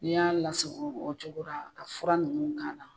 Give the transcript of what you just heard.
N'i y'a lasagon o cogo ra ka fura nunnu k'a la